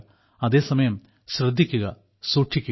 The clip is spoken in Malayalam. അതേസമയം ശ്രദ്ധിക്കുക സൂക്ഷിക്കുക